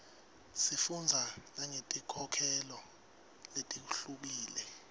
sifundza nangetinkholelo letihlukile